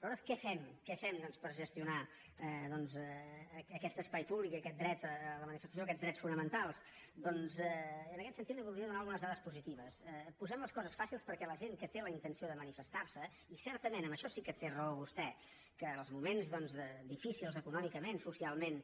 nosaltres què fem què fem per gestionar doncs aquest espai públic aquest dret a la manifestació aquests drets fonamentals doncs en aquest sentit li voldria donar algunes dades positives posem les coses fàcils perquè la gent que té la intenció de manifestar se i certament en això sí que té raó vostè que els moments doncs difícils econòmicament socialment